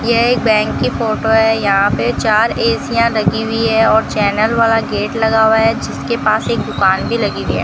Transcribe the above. यह एक बैंक की फोटो है यहां पे चार ए_सी यां लगी हुई है और चैनल वाला गेट लगा हुआ है जिसके पास एक दुकान भी लगी हुई है।